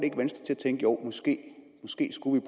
tænke jo måske måske skulle